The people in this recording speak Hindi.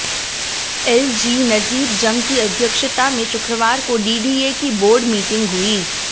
एलजी नजीब जंग की अध्यक्षता में शुक्रवार को डीडीए की बोर्ड मीटिंग हुई